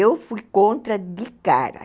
Eu fui contra de cara.